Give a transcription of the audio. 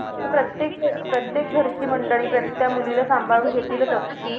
प्रत्येक अं प्रत्येक घरची मंडळी प्रत त्या मुलीला सांभाळून घेतीलच असं नाही.